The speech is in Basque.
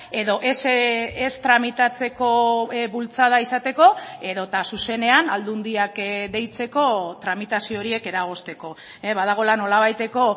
edo ez tramitatzeko bultzada izateko edota zuzenean aldundiak deitzeko tramitazio horiek eragozteko badagoela nolabaiteko